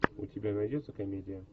у тебя найдется комедия